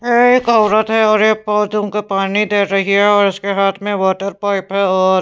ये एक औरत है और ये पौधों को पानी दे रही है और उसके हाथ में वाटर पाइप है और --